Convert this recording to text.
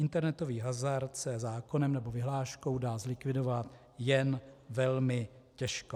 Internetový hazard se zákonem nebo vyhláškou dá zlikvidovat jen velmi těžko.